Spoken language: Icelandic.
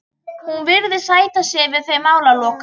Hún virðist sætta sig við þau málalok.